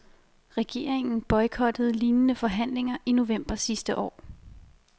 Regeringen boykottede lignende forhandlinger i november sidste år.